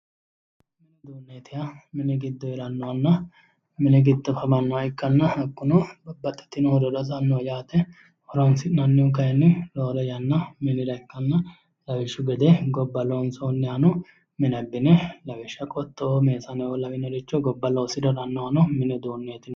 Mini uduune yinneemmohu mini giddo hosanoho yaate, babbaxitino horora hosanoho , horonsi'nannihu kayinni mini horora ikkanna lawishshu gede gobba loonsonihano mine abbine qoxxo'o ,meesaneo lawinore loonisanihano mini